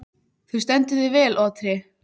Þú stendur þig vel, Otri!